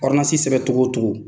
sɛbɛ cogo o cogo